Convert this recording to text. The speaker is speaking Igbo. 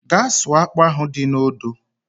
Gaa sụọ akpụ ahụ dị n'odo!